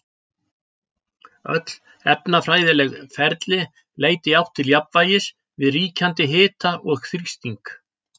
Öll efnafræðileg ferli leita í átt til jafnvægis við ríkjandi hita og þrýsting.